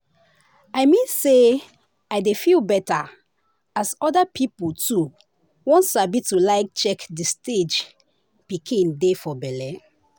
i mean say i dey feel better as other people too won sabi to like check the stage pikin dey for belle.